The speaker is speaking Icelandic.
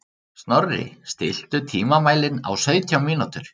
Snorri, stilltu tímamælinn á sautján mínútur.